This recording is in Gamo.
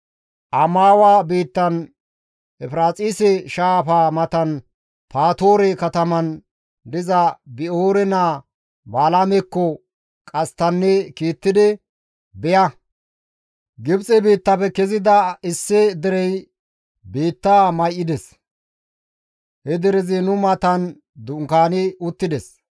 Amaawa biittan Efiraaxise shaafa matan Patoore katamaan diza Bi7oore naa Balaamekko qasttanne kiittidi, «Beya! Gibxe biittafe kezida issi derey biittaa may7ides; he derezi nu matan dunkaani uttides.